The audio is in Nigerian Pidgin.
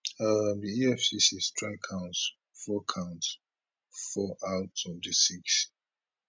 um di efcc strike counts four counts four out of di six